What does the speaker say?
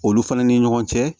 Olu fana ni ɲɔgɔn cɛ